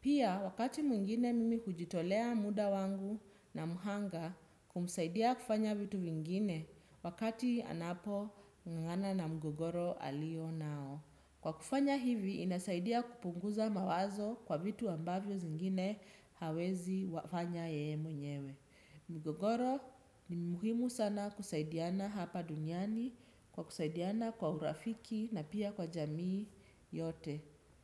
Pia wakati mwingine mimi hujitolea muda wangu na mhanga kumsaidia kufanya vitu vingine wakati anapo ngangana na mgogoro alio nao. Kwa kufanya hivi, inasaidia kupunguza mawazo kwa vitu ambavyo zingine hawezi wafanya yeye mwenyewe. Mgogoro, ni muhimu sana kusaidiana hapa duniani kwa kusaidiana kwa urafiki na pia kwa jamii yote.